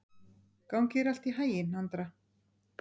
Gangi þér allt í haginn, Andra.